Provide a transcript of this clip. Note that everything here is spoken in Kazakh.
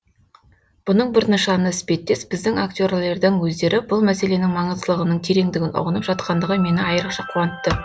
бұның бір нышаны іспеттес біздің актерлердің өздері бұл мәселенің маңыздылығының тереңдігін ұғынып жатқандығы мені айрықша қуантты